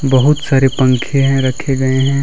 बहुत सारे पंखे हैं रखे गए हैं।